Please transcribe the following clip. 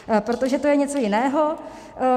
Protože to je něco jiného.